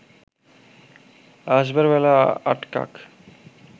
আসবার বেলা আটকাক